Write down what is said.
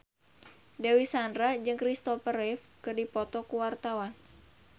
Dewi Sandra jeung Kristopher Reeve keur dipoto ku wartawan